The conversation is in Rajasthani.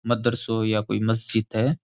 मदरसों या कोई मस्जिद है।